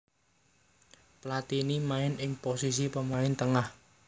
Platini main ing posisi pemain tengah